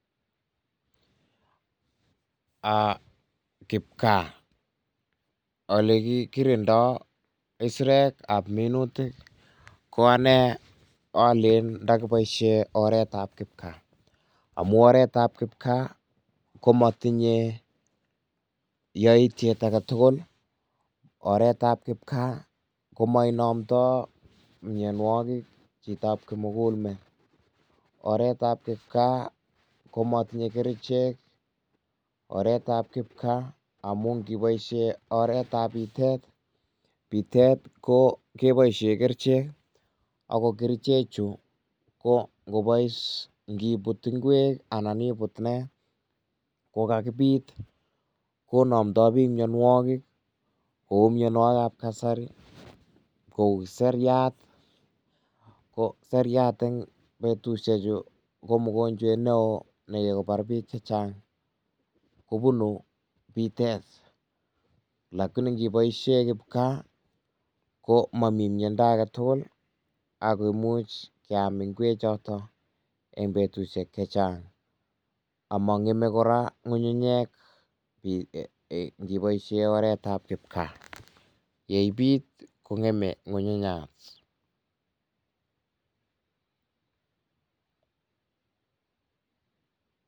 Kipkaa, ole kikirindoi kisirekab minutik ko ane alen ndakiboisien oretab kipkaa. Amu oretab kipkaa ko matinye yaityet age tugul, oretab kipkaa ko mainomto mianwokik chitab kimugul met. Oretab kipkaa ko matinye kerichek ,oretab kipkaa amun ngiboisien oretab pitet ,pitet ko ke boisie kerchek aku kerchechu ko ngobois ngibut ngwek anan ibut ne ko kakibit ko namdoi biik mionwokik.ku mianwokikab kasari ko seriat, ko seriat eng betusiechu ko mungonjewet nekikobar bich che chang ko bunu pitet lakini ngiboisie kipkaa ko mami miondo age tugul ne much keam ngwechoto eng betusiek che chang. Amang'eme kora ng'ung'unyek ngiboisie oretab kipkaa, ye ipit kong'eme ng'ung'unyat